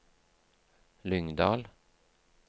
Lyngdal